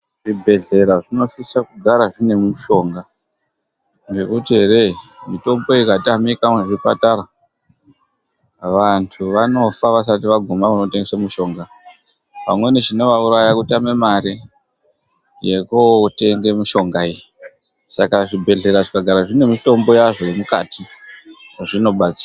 Zvibhehlera zvinosise kugara zvine mitombo ngendaa yekuti mitombo ikatamika vanhu vanofa vasati vagumeyo kune mitombo vamweni vanotame mare yekutenga. Zvibhehlera zvinosisa kugara zvine mitombo yazvo yemukatimwo zvinobatsira